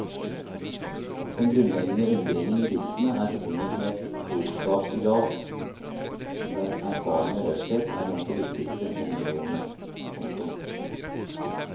Den grunnleggende undringen i diktene er forbundet med et klokskapsideal der erfaring og raushet er blant de viktigste honnørordene. punktum